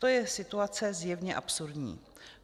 To je situace zjevně absurdní.